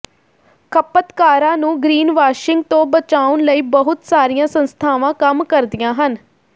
ਖਪਤਕਾਰਾਂ ਨੂੰ ਗਰੀਨਵਾਸ਼ਿੰਗ ਤੋਂ ਬਚਾਉਣ ਲਈ ਬਹੁਤ ਸਾਰੀਆਂ ਸੰਸਥਾਵਾਂ ਕੰਮ ਕਰਦੀਆਂ ਹਨ